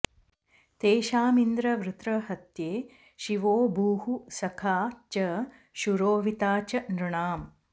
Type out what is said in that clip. तेषामिन्द्र वृत्रहत्ये शिवो भूः सखा च शूरोऽविता च नृणाम्